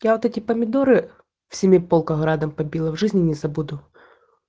я вот эти помидоры в семиполках градом побило в жизни не забуду